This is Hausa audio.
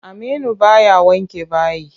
Aminu baya wanke bayi.